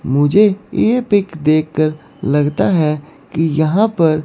मुझे ये पिक देखकर लगता है कि यहां पर--